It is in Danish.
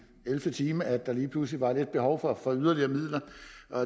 ellevte time at der lige pludselig var lidt behov for for yderligere midler